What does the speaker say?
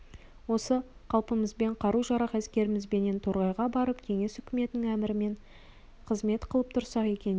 осы қалпымызбен қару-жарақ әскерімізбенен торғайға барып кеңес үкіметінің әмірімен қызмет қылып тұрсақ екен дейді